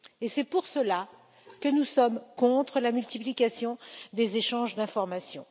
C'est pour cela que nous sommes contre la multiplication des échanges d'informations.